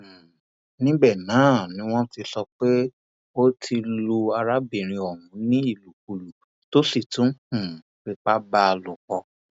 um níbẹ náà ni wọn sọ pé ó ti lu arábìnrin ọhún ní ìlùkulù tó sì tún um fipá bá a a lòpọ